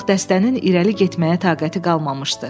Artıq dəstənin irəli getməyə taqəti qalmamışdı.